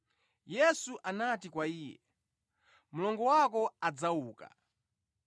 Yesu anati kwa iye, “Mlongo wako adzauka.”